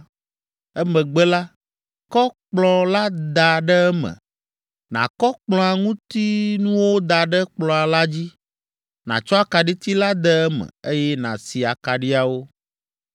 Emegbe la, kɔ kplɔ̃ la da ɖe eme, nàkɔ kplɔ̃a ŋutinuwo da ɖe kplɔ̃ la dzi, nàtsɔ akaɖiti la de eme, eye nàsi akaɖiawo.